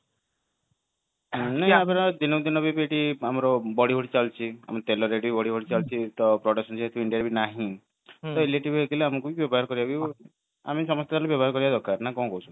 ନାଇଁ ଆମର ଦିନକୁଦିନ ବି ଏଠି ଆମର ବଢିଆବଢି ଚାଲିଛି ଆମର ତେଲ rate ବି ବଢିବଢି ଚାଲିଛି ତ productivity ବି indiaରେ ନାହିଁ ତ electric vehicle ଆମକୁ ହି ବ୍ୟବହାର କରିବାକୁ ହିଁ ଆମେ ସମସ୍ତେ ବ୍ଯବହର କରିବା ଦରକାର